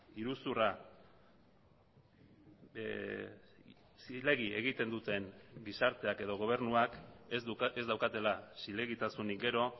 iruzurra zilegi egiten duten gizarteak edo gobernuak ez daukatela zilegitasunik gero